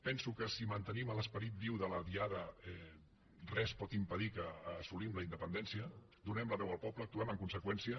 penso que si mantenim l’esperit viu de la diada res pot impedir que assolim la independència donem la veu al poble actuem en conseqüència